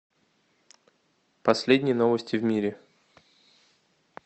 последние новости в мире